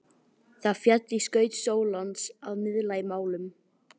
Það féll í skaut Sólons að miðla málum.